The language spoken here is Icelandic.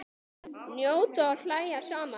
Njóta og hlæja saman.